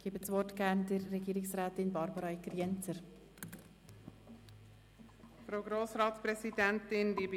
Ich gebe das Wort Regierungsrätin Barbara Egger-Jenzer.